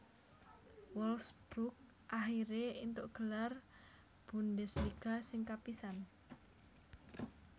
Wolfsburg akhiré éntuk gelar Bundesliga sing kapisan